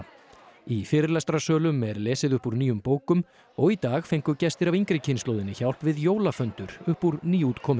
í fyrirlestrarsölum er lesið upp úr nýjum bókum og í dag fengu gestir af yngri kynslóðinni hjálp við jólaföndur upp úr nýútkominni